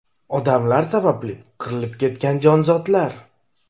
Odamlar sababli qirilib ketgan jonzotlar.